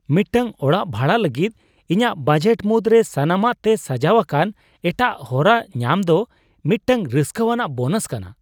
ᱢᱤᱫᱴᱟᱝ ᱚᱲᱟᱜ ᱵᱷᱟᱲᱟ ᱞᱟᱹᱜᱤᱫ ᱤᱧᱟᱹᱜ ᱵᱟᱡᱮᱴ ᱢᱩᱫᱽᱨᱮ ᱥᱟᱱᱟᱢᱟᱜ ᱛᱮ ᱥᱟᱡᱟᱣ ᱟᱠᱟᱱ ᱮᱴᱟᱜ ᱦᱚᱨᱟ ᱧᱟᱢ ᱫᱚ ᱢᱤᱫᱴᱟᱝ ᱨᱟᱹᱥᱠᱟᱹᱣᱟᱱᱟᱜ ᱵᱳᱱᱟᱥ ᱠᱟᱱᱟ ᱾